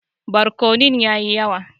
Barkonon ya yi yawa.